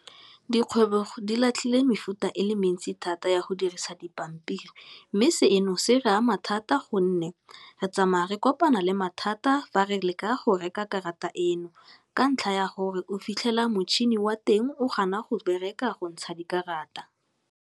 Dikgwebo di latlhile mefuta e le mentsi thata ya go dirisa dipampiri, mme seno se re ama thata gonne re tsamaya re kopana le mathata fa re leka go reka karata eno ka ntlha ya gore o fitlhela motšhini wa teng o gana go bereka go ntsha dikarata.